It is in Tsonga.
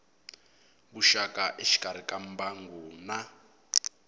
vuxaka exikarhi ka mbangu na